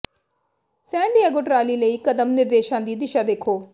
ਸੈਨ Diego trolley ਲਈ ਕਦਮ ਨਿਰਦੇਸ਼ਾਂ ਦੀ ਦਿਸ਼ਾ ਦੇਖੋ